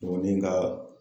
ne ka.